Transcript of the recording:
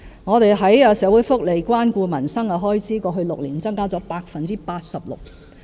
我們在社會福利及關顧民生的開支，過去6年增加了 86%。